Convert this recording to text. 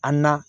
An na